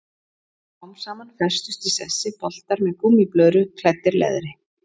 Smám saman festust í sessi boltar með gúmmíblöðru klæddir leðri.